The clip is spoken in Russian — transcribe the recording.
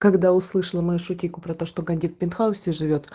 когда услышала мою шутейку про то что ганди в пентхаусе живёт